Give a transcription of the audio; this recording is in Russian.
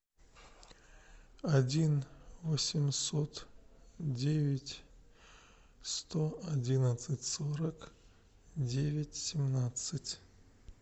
один восемьсот девять сто одиннадцать сорок девять семнадцать